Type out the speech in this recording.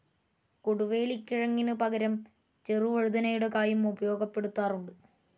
കൊടുവേലിക്കിഴങ്ങിനു പകരം ചെറുവഴുതനയുടെ കായും ഉപയോഗപ്പെടുത്താറുണ്ട്.